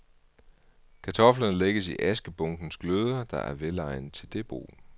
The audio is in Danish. Kartoflerne lægges i askebunkens gløder, der er velegnet til det brug.